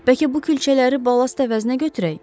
Bəlkə bu külçələri ballast əvəzinə götürək?